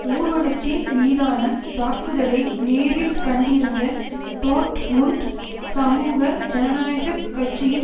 ஊர்வலத்தின் மீதான தாக்குதலை நேரில் கண்டிருந்த டோர்ட்முண்ட் சமூக ஜனநாயக கட்சியின்